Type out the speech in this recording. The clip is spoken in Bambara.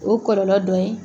O kɔlɔlɔ dɔ ye.